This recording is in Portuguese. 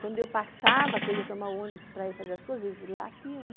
Quando eu passava, que eu ia tomar ônibus para ir fazer as coisas, eles latiam, né?